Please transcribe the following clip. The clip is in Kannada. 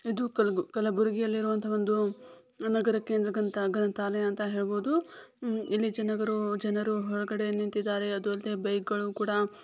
ಇದು ಕಲ ಕಲಬುರ್ಗಿಯಲ್ಲಿರುವಂತಹ ಒಂದು ನಗರ ಕೇಂದ್ರ ಗ್ರಂಥಾ ಗ್ರಂಥಾಲಯ ಅಂತ ಹೇಳಬಹುದು ಇಲ್ಲಿ ಜನಗರು ಜನರು ಹೊರಗಡೆ ನಿಂತಿದ್ದಾರೆ ಅದು ಅಲ್ದೆ ಬೈಕ್ ಗಳು ಕೂಡ --